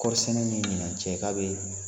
Kɔɔrisɛnɛ ni ɲinan cɛ k'a bɛ